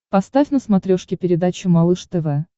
поставь на смотрешке передачу малыш тв